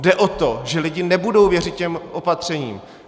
Jde o to, že lidé nebudou věřit těm opatřením.